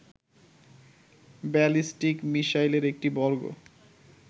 ballistic মিশাইলের একটি বর্গ